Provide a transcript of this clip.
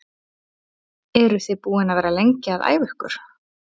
Eru þið búin að vera lengi að æfa ykkur?